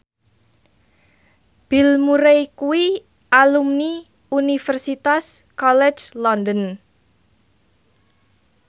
Bill Murray kuwi alumni Universitas College London